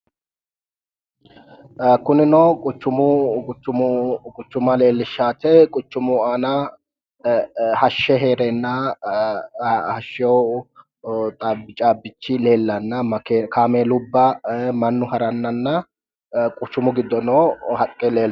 Kunino quchuma leelishanote, quchumu aana hashshe heerena hashewo caabichi leelana kaameluba mannu haranana quchumu gido noo haqqe leelitano